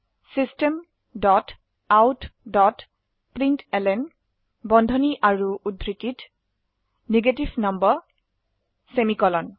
systemoutপ্ৰিণ্টলন বন্ধনী আৰু উদ্ধৃতিত নেগেটিভ নাম্বাৰ সেমিকোলন